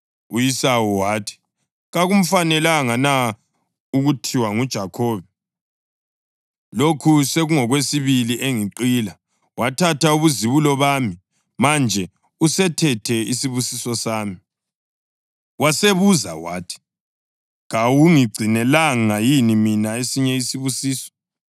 U-Esawu wathi, “Kakumfanelanga na ukuthiwa nguJakhobe? Lokhu sokungokwesibili engiqila: Wathatha ubuzibulo bami, manje usethethe isibusiso sami?” Wasebuza wathi, “Kawungigcinelanga yini mina esinye isibusiso”?